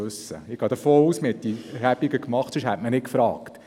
Ich gehe davon aus, dass man diese Erhebungen gemacht hat, weil man Fragen hatte.